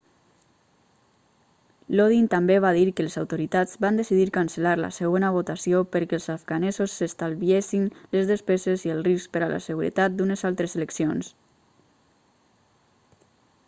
lodin també va dir que les autoritats van decidir cancel·lar la segona votació perquè els afganesos s'estalviessin les despeses i el risc per a la seguretat d'unes altres eleccions